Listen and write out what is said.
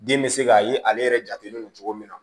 Den bɛ se k'a ye ale yɛrɛ jatelen don cogo min na